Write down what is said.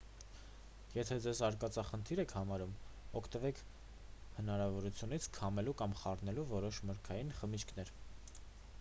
եթե ձեզ արկածախնդիր եք համարում օգտվեք հնարավորությունից քամելու կամ խառնելու որոշ մրգային խմիչքներ